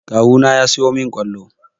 Kawu na ya siyo min ƙwalo